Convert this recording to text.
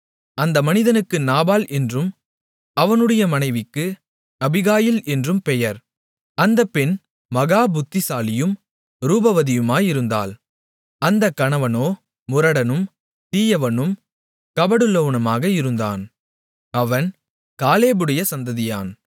அந்த மனிதனுக்கு நாபால் என்றும் அவனுடைய மனைவிக்கு அபிகாயில் என்றும் பெயர் அந்த பெண் மகா புத்திசாலியும் ரூபவதியுமாயிருந்தாள் அந்தக் கணவனோ முரடனும் தீயவனும் கபடுள்ளவனுமாக இருந்தான் அவன் காலேபுடைய சந்ததியான்